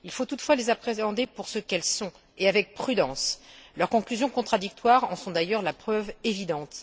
Il faut toutefois les appréhender pour ce qu'elles sont et avec prudence. Leurs conclusions contradictoires en sont d'ailleurs la preuve évidente.